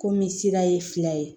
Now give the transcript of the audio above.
Komi sira ye fila ye